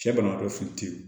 Cɛ banabagatɔ